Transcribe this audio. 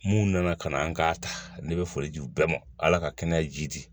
Mun nana ka na an k'a ta ne bɛ foli di u bɛɛ ma ala ka kɛnɛya ji di